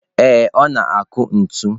Ee, ọ na-akụ ntu.